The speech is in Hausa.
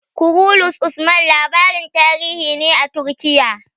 "Kurulus Usman" labarin tarihi ne a Turkiya.